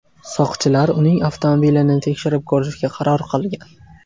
Soqchilar uning avtomobilini tekshirib ko‘rishga qaror qilgan.